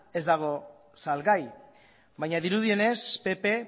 ez dago salgai baina dirudienez pp